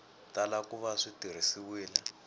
tala ku va swi tirhisiwile